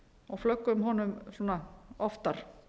og flöggum honum oftar